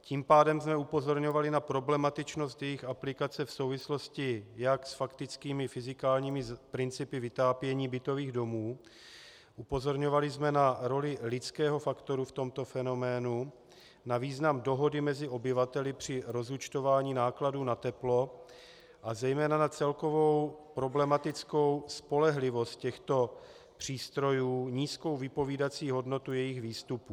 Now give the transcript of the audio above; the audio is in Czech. Tím pádem jsme upozorňovali na problematičnost jejich aplikace v souvislosti jak s faktickými fyzikálními principy vytápění bytových domů, upozorňovali jsme na roli lidského faktoru v tomto fenoménu, na význam dohody mezi obyvateli při rozúčtování nákladů na teplo a zejména na celkovou problematickou spolehlivost těchto přístrojů, nízkou vypovídací hodnotu jejich výstupů.